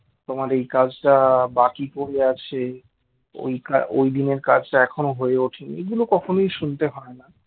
তোমার এই কাজটা বাকি পড়ে আছে ওই কাজ ওইদিনের কাজটা এখনো হয়ে ওঠেনি এইগুলো কখনোই শুনতে হয় না